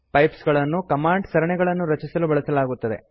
pipes ಗಳನ್ನು command ಸರಣಿಗಳನ್ನು ರಚಿಸಲು ಬಳಸಲಾಗುತ್ತದೆ